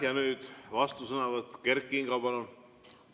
Ja nüüd vastusõnavõtt, Kert Kingo, palun!